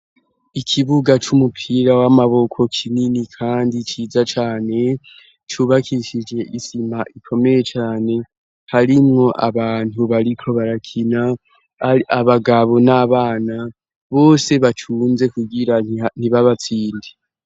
ikibuga c'umupira w'amaboko kinini kandi ciza cane cubakishije isima ikomeye cane harimwo abantu bariko barakina abagabo n'abana bose bacunze kugira ntibabatsinde.